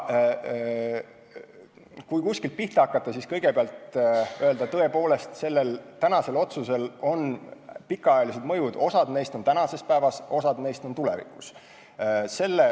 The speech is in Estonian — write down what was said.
Kui kuskilt pihta hakata, siis kõigepealt tuleb öelda, sellel tänasel otsusel on tõepoolest pikaajalised mõjud, osa neist on kohe tuntavad, osa alles tulevikus.